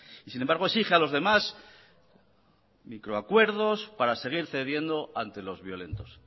y sin embargo exige a los demás microacuerdos para seguir cediendo ante los violentos